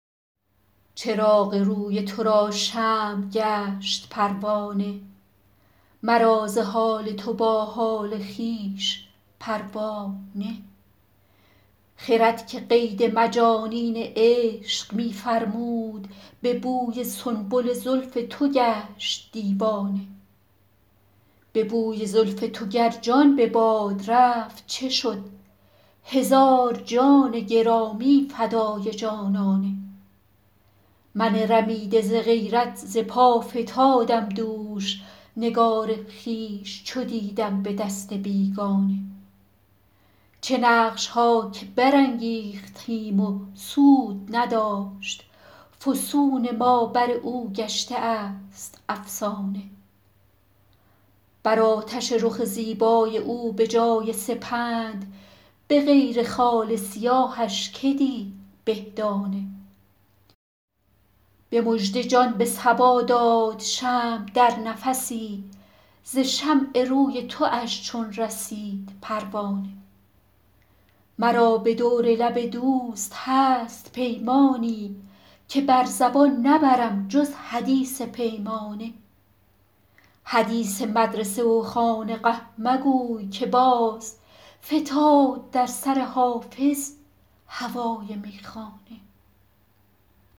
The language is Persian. چراغ روی تو را شمع گشت پروانه مرا ز حال تو با حال خویش پروا نه خرد که قید مجانین عشق می فرمود به بوی سنبل زلف تو گشت دیوانه به بوی زلف تو گر جان به باد رفت چه شد هزار جان گرامی فدای جانانه من رمیده ز غیرت ز پا فتادم دوش نگار خویش چو دیدم به دست بیگانه چه نقش ها که برانگیختیم و سود نداشت فسون ما بر او گشته است افسانه بر آتش رخ زیبای او به جای سپند به غیر خال سیاهش که دید به دانه به مژده جان به صبا داد شمع در نفسی ز شمع روی تواش چون رسید پروانه مرا به دور لب دوست هست پیمانی که بر زبان نبرم جز حدیث پیمانه حدیث مدرسه و خانقه مگوی که باز فتاد در سر حافظ هوای میخانه